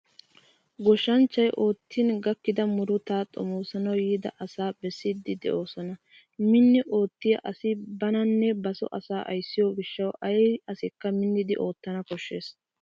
Goshshanchchay oottin gakkida murutaa xomoosanawu yiida asaa bessiddi doosona. Minni oottiya asay bananne basoo asaa ayssiyo gishshawu ay asikka minnidi oottana koshshes.